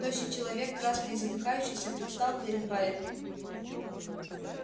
тощий человек красный и задыхающийся предстал перед байерли